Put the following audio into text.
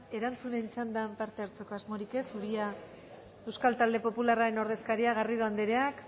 erantzunen txandan parte hartzeko asmorik ez uria euskal talde popularraren ordezkaria garrido andereak